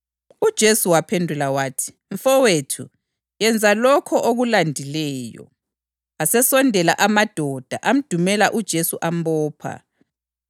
UJesu waphendula wathi, “Mfowethu, yenza lokho okulandileyo.” Asesondela amadoda, amdumela uJesu ambopha.